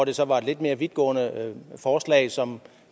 det så var et lidt mere vidtgående forslag som